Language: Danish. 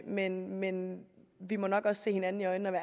men men vi må nok også se hinanden i øjnene